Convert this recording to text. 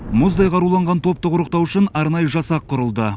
мұздай қаруланған топты құрықтау үшін арнайы жасақ құрылды